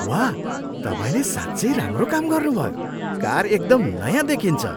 वाह! तपाईँले साँच्चै राम्रो काम गर्नुभयो। कार एकदम नयाँ देखिन्छ!